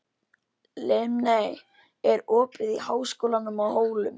Linnea, er opið í Háskólanum á Hólum?